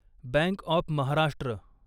bank of Maharashtra